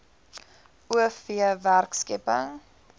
o v werkskepping